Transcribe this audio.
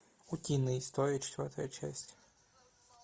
утиные истории четвертая часть